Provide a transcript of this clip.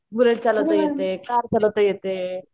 bullet चालवता येते, car चालवता येते